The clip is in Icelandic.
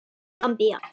Gambía